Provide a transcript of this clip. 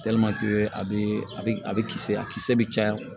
a bɛ a bɛ a bɛ kisɛ a kisɛ bɛ caya